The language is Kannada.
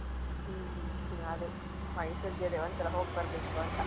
ಹ್ಮ್ ಹ್ಮ್ ಅದೇ ಮೈಸೂರಿಗೆ ಅದೇ ಒಂದ್ಸಲಾ ಹೋಗ್ಬರ್ಬೇಕು ಅಂತ.